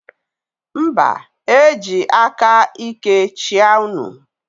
Mba, m eji aka íké chịa unu.